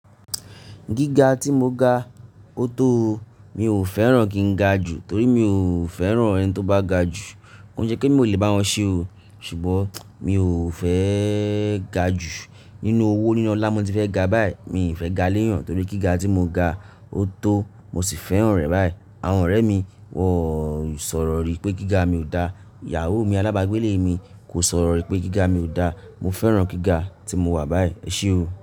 Gíga tí mo ga, ó tó o. Mi ò fẹ́ràn kí n ga jù torí mi ò fẹ́ràn ẹni tó bá ga jù. Ko ṣe pe mo lè bá wọn ṣe o. Ṣùgbọ́n mi ò fẹ́ ga jù. Nínú owó nínu olá mo ti fẹ́ ga báyìí. Mi fẹ́ ga léyàn torí gíga tí mo ga, ó tó o. Mo sì fẹ́ràn rẹ̀ báyìí. Àwọn ọ̀rẹ́ mi, wọ́n sọ̀rọ̀ rí pé gíga mi ò da. Ìyàwó mi alábàágbélé mi kò sọ̀rọ̀ rí pé gíga mi ò da. Mo fẹ́ràn gíga tí mo wà báyìí. Ẹ ṣe o.